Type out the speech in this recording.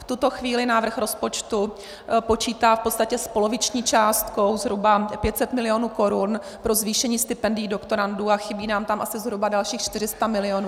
V tuto chvíli návrh rozpočtu počítá v podstatě s poloviční částkou, zhruba 500 milionů korun, pro zvýšení stipendií doktorandů a chybí nám tam asi zhruba dalších 400 milionů.